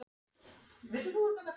Hendur hans fálma ofan í buxurnar.